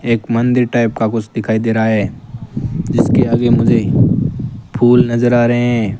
एक मंदिर टाइप का कुछ दिखाई दे रहा है जिसके आगे मुझे फुल नजर आ रहे हैं।